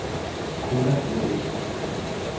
Codan A/S